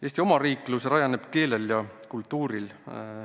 Eesti omariiklus rajaneb keelel ja kultuuril.